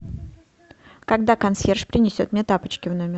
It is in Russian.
когда консьерж принесет мне тапочки в номер